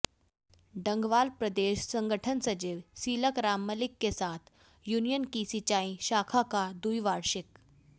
डंगवाल प्रदेश संगठन सचिव सीलक राम मलिक के साथ यूनियन की सिंचाई शाखा का द्विवार्षिक